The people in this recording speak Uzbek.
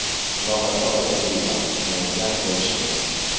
Muloqotda odobli va xushmuomala bo‘lish kerak.